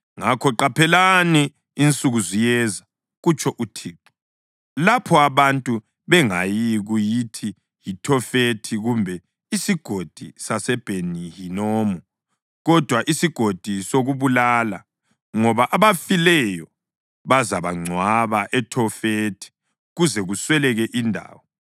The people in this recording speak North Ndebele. Ngakho qaphelani, insuku ziyeza, kutsho uThixo, lapho abantu bengayikuyithi yiThofethi kumbe iSigodi saseBheni-Hinomu, kodwa iSigodi sokuBulala, ngoba abafileyo bazabangcwaba eThofethi kuze kusweleke indawo.